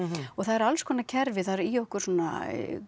og það eru alls konar kerfi það er í okkur svona